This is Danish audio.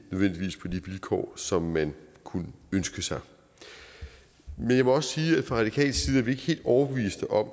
vilkår som man kunne ønske sig men jeg må også sige at vi fra radikal side helt overbeviste om